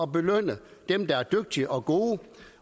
belønne dem der er dygtige og gode